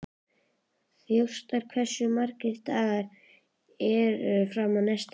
Þjóstar, hversu margir dagar fram að næsta fríi?